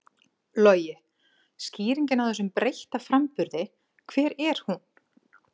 Logi: Skýringin á þessum breytta framburði, hver er hún?